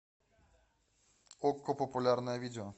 окко популярное видео